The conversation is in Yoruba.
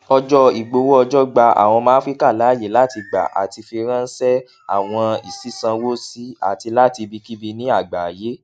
ọjọ ìgbowóọjọ gba àwọn ọmọ áfríkà láàyè láti gbà àti firańṣẹ àwọn sísánwó sí àti láti ibikíbi ní àgbáyé